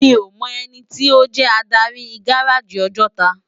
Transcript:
Mi ó mò èniti ó jè ádári gáráji Òjòtá